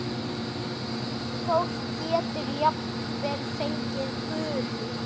Fólk getur jafnvel fengið gulu.